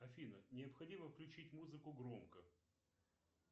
афина необходимо включить музыку громко